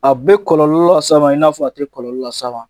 A be kɔlɔlɔ las'a ma i n'a fɔ a tɛ kɔlɔlɔ las'a ma.